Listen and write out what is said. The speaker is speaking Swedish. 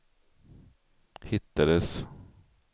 hittades